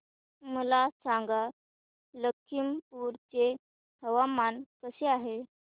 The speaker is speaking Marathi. मला सांगा लखीमपुर चे हवामान कसे आहे